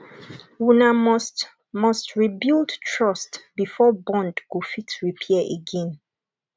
una must must rebuild trust before bond go fit repair again